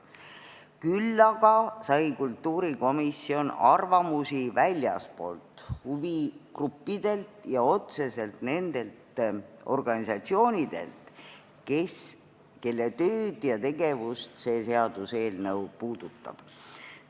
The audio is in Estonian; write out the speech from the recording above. Küll aga sai kultuurikomisjon arvamusi väljastpoolt – huvigruppidelt ja nendelt organisatsioonidelt, kelle tööd ja tegevust see seaduseelnõu otseselt puudutab.